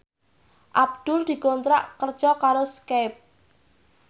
Abdul dikontrak kerja karo Skype